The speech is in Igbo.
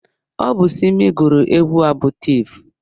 Ọ bụ Simi gụrụ egwu a bụ Tif.